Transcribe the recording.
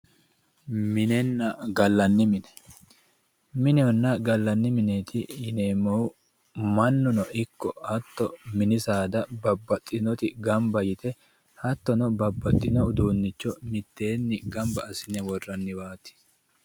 minenenna gallanni mine minehonna gallanni mineeti yineemmohu mannuno ikko hatto mini saada ikkitinoti gamba yite hattono babbaxino uduunnicho miteenni gamba assine worranniwaati